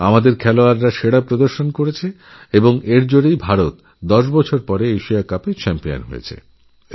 তাদের এই অসাধারণ ক্রীড়ানৈপুণ্যের জন্য দীর্ঘদশ বছর পর ভারত এই খেতাব পেয়েছে